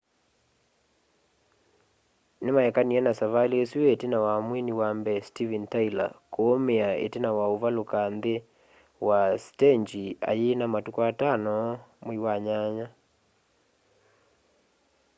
nimaekanie na savali isu itina wa mwini wa mbee stevem tyler kuumia itina wa uvaluka nthi wa sitenji ayiina matuku 5 mwei wa nyanya